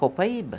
Copaíba.